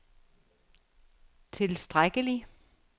tilstrækkelig